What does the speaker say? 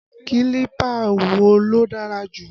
Kílípà wo ló dára jù?